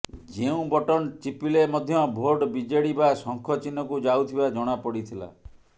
ଯେଉଁ ବଟନ୍ ଚିପିଲେ ମଧ୍ୟ ଭୋଟ୍ ବିଜେଡି ବା ଶଙ୍ଖ ଚିହ୍ନକୁ ଯାଉଥିବା ଜଣାପଡ଼ିଥିଲା